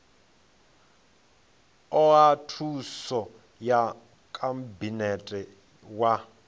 oa thuso ya khabinete wa